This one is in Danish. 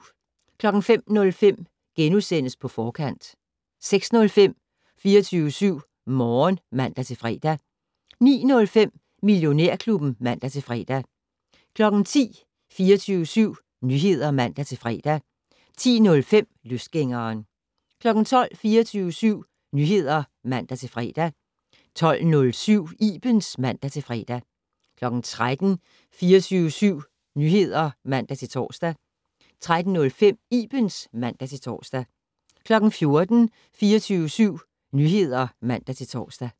05:05: På Forkant * 06:05: 24syv Morgen (man-fre) 09:05: Millionærklubben (man-fre) 10:00: 24syv Nyheder (man-fre) 10:05: Løsgængeren 12:00: 24syv Nyheder (man-fre) 12:07: Ibens (man-fre) 13:00: 24syv Nyheder (man-tor) 13:05: Ibens (man-tor) 14:00: 24syv Nyheder (man-tor)